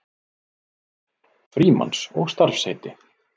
Frímanns og starfsheiti.